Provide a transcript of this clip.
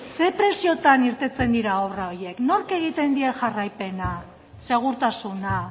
zein preziotan irteten dira obra horiek nork egiten die jarraipena segurtasuna